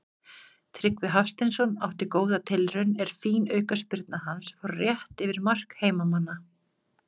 Tryggvi Hafsteinsson átti góða tilraun er fín aukaspyrna hans fór rétt yfir mark heimamanna.